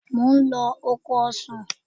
Mò ń lọ oko ọsàn.